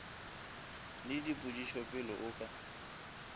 le dipotšišo pele o ka